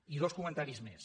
i dos comentaris més